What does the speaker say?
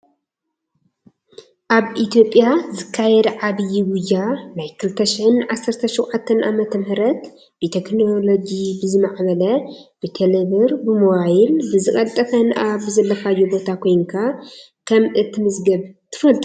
ኣብ ኢትዮጵያ ዝካየድ ዓብይ ጉያ ናይ 2017ዓ.ም ብቴክኖሎጂ ብዝማዕበለ ብቴሌብር ብሞባይል ብዝቀልጠፈን ኣብ ዘለካዮ ቦታ ኮይንካ ከም እትምዝገብ ትፈልጡ ዶ?